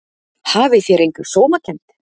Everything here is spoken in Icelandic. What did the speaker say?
Hafið þér enga sómakennd?